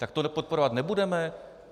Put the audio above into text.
Tak tohle podporovat nebudeme?